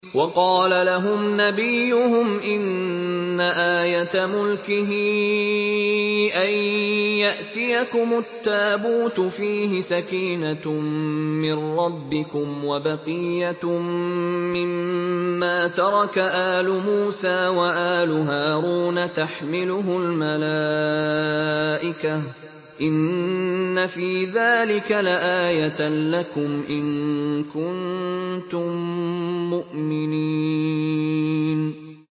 وَقَالَ لَهُمْ نَبِيُّهُمْ إِنَّ آيَةَ مُلْكِهِ أَن يَأْتِيَكُمُ التَّابُوتُ فِيهِ سَكِينَةٌ مِّن رَّبِّكُمْ وَبَقِيَّةٌ مِّمَّا تَرَكَ آلُ مُوسَىٰ وَآلُ هَارُونَ تَحْمِلُهُ الْمَلَائِكَةُ ۚ إِنَّ فِي ذَٰلِكَ لَآيَةً لَّكُمْ إِن كُنتُم مُّؤْمِنِينَ